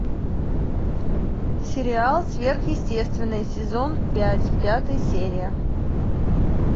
сериал сверхъестественное сезон пять пятая серия